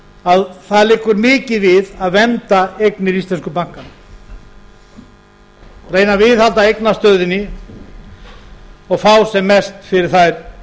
að það liggur mikið við að vernda eignir íslensku bankanna reyna að viðhalda eignastöðunni og fá sem mest fyrir þær